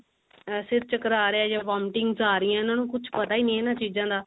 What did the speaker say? ਸਿਰ ਚਕਰਾ ਰਿਹਾ ਜਾਂ vomiting's ਆ ਰਹੀ ਇਹਨਾਂ ਨੂੰ ਕੁਛ ਪਤਾ ਹੀ ਨਹੀਂ ਇਹਨਾਂ ਚੀਜ਼ਾਂ ਦਾ